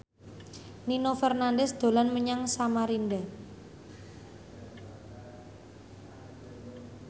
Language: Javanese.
Nino Fernandez dolan menyang Samarinda